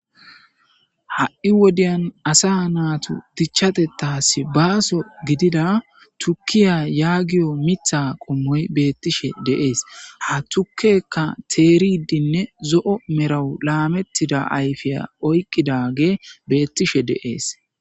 Ha'i wodiya asa natus dichas baso gidida tukeya yagiyo mitha qomoy betishe de'es ha tukeyka teridinne zo'o medho lametida ayfa oykidage betishe de'es